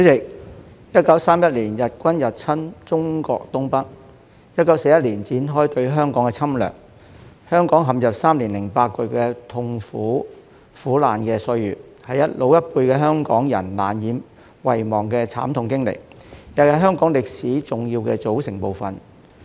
主席 ，1931 年日軍入侵中國東北 ，1941 年展開對香港的侵略，香港陷入3年8個月的痛苦、苦難的歲月，是老一輩的香港人難以遺忘的慘痛經歷，亦是香港歷史的重要組成部分。